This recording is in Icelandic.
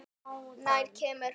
Nær kemur hún?